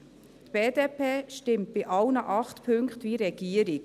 Die BDP stimmt bei allen acht Punkten wie die Regierung.